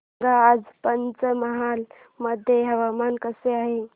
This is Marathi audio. सांगा आज पंचमहाल मध्ये हवामान कसे आहे